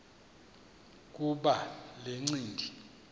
kuba le ncindi